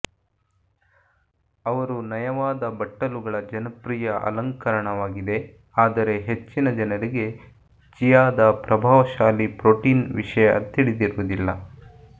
ಅವರು ನಯವಾದ ಬಟ್ಟಲುಗಳ ಜನಪ್ರಿಯ ಅಲಂಕರಣವಾಗಿದೆ ಆದರೆ ಹೆಚ್ಚಿನ ಜನರಿಗೆ ಚಿಯಾದ ಪ್ರಭಾವಶಾಲಿ ಪ್ರೋಟೀನ್ ವಿಷಯ ತಿಳಿದಿರುವುದಿಲ್ಲ